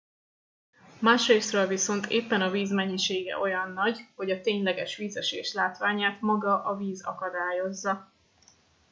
másrészről viszont éppen a víz mennyisége olyan nagy hogy a tényleges vízesés látványát maga a víz akadályozza